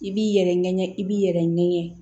I b'i yɛrɛ ŋɛɲɛ i b'i yɛrɛ ŋɛɲɛ